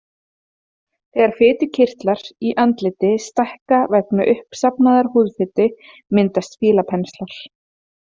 Þegar fitukirtlar í andliti stækka vegna uppsafnaðrar húðfitu myndast fílapenslar.